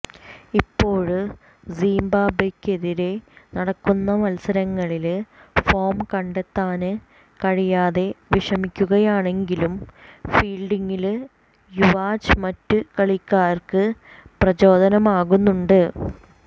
ഇപ്പോള് സിംബാബ്വെക്കെതിരെ നടക്കുന്ന മത്സരങ്ങളില് ഫോം കണ്ടെത്താന് കഴിയാതെ വിഷമിക്കുകയാണെങ്കിലും ഫീല്ഡിംഗില് യുവ്രാജ് മറ്റു കളിക്കാര്ക്ക് പ്രചോദനമാകുന്നുണ്ട്